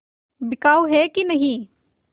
बिकाऊ है कि नहीं